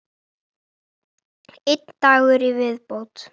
Einn dagur í viðbót!